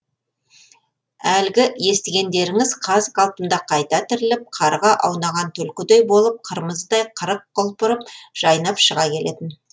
әлгі естігендеріңіз қаз қалпында қайта тіріліп қарға аунаған түлкідей болып қырмыздай қырық құлпырып жайнап шыға келетін